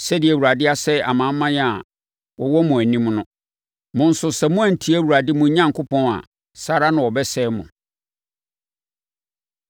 Sɛdeɛ Awurade asɛe amanaman a na wɔwɔ mo anim no, mo nso sɛ moantie Awurade mo Onyankopɔn a, saa ara na wɔbɛsɛe mo.